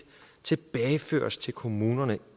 tilbageføres til kommunerne